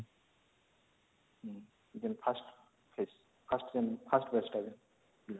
ହୁଁ 1st 1st batch